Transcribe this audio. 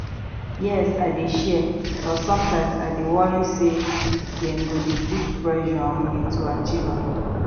yes i dey share but sometimes i dey worry say dem go dey put pressure on me to achieve am